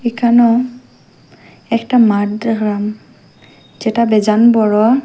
এখানো একটা মাঠ দেখ্রাম যেটা বেজান বড়।